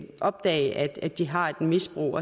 opdage at de har et misbrug